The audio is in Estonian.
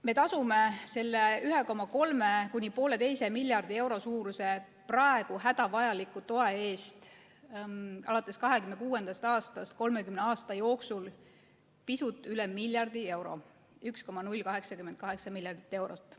Me tasume selle 1,3–1,5 miljardi euro suuruse praegu hädavajaliku toe eest alates 2026. aastast umbes 30 aasta jooksul pisut üle miljardi euro – 1,088 miljardit eurot.